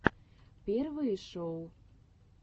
первые шоу